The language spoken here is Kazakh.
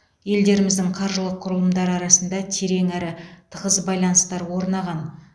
елдеріміздің қаржылық құрылымдары арасында терең әрі тығыз байланыстар орнаған